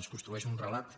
es construeix un relat